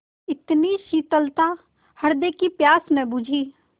इतनी शीतलता हृदय की प्यास न बुझी